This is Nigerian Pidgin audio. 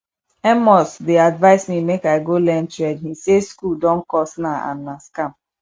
amos dey advise me make i go learn trade he say school don cost now and na scam